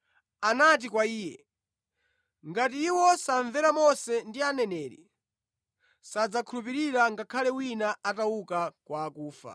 “Anati kwa iye, ‘Ngati iwo samvera Mose ndi Aneneri, sadzakhulupirira ngakhale wina atauka kwa akufa.’ ”